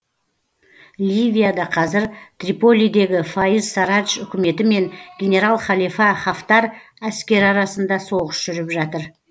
ливияда қазір триполидегі фаиз сарадж үкіметі мен генерал халифа хафтар әскері арасында соғыс жүріп жатыр